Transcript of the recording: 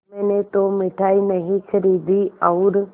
मैंने तो मिठाई नहीं खरीदी और